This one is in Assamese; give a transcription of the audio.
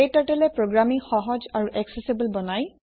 KTurtleএ প্ৰোগ্ৰামিঙ সহজ আৰু একচেছেবল বনাই